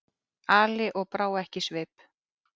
Ali og brá ekki svip.